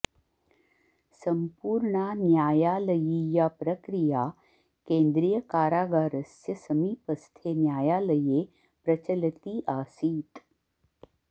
सम्पूर्णा न्यायालयीया प्रक्रिया केन्द्रियकारागारस्य समीपस्थे न्यायालये प्रचलती आसीत्